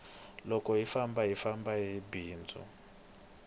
loko hi famba hi famba hi bindzu